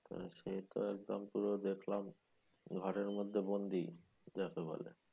সে তো একদম পুরো দেখলাম ঘরের মধ্যে বন্দি যাকে বলে